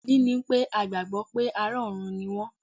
Ìdí ni pé a gbàgbọ́ pé ará ọ̀run ni wọ́n.